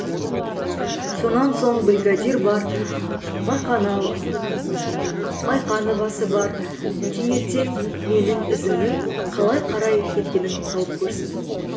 сонан соң бригадир бар майқановасы бар таңертең менің ізімнің қалай қарай кеткенін тауып көрсін